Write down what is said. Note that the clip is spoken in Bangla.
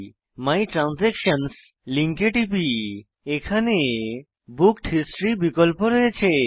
মাই ট্রান্সাকশনসহ লিঙ্কে টিপি এখানে বুকড হিস্টরি বিকল্প রয়েছে